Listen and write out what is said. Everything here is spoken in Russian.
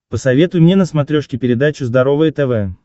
посоветуй мне на смотрешке передачу здоровое тв